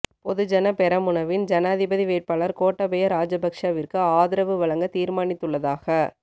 பொதுஜன பெரமுனவின் ஜனாதிபதி வேட்பாளர் கோட்டாபய ராஜபக்ஷவிற்கு ஆதரவு வழங்க தீர்மானித்துள்ளதாக